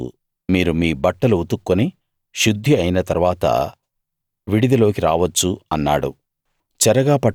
ఏడో రోజు మీరు మీ బట్టలు ఉతుక్కొని శుద్ధి అయిన తరవాత విడిదిలోకి రావచ్చు అన్నాడు